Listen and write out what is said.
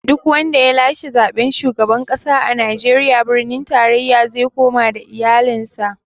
Duk wanda ya lashe zaɓen shugaban ƙasa a Najeriya, birnin tarayya ze koma da iyalin sa